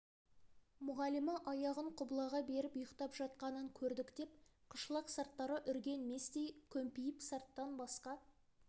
мұғалімі аяғын құбылаға беріп ұйықтап жатқанын көрдік деп қышлақ сарттары үрген местей көмпиіп сарттан басқа